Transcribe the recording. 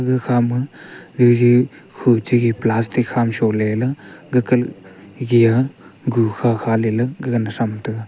ga khama jeje hu che plastic hama sho ley le gaga gaga na tham taiga.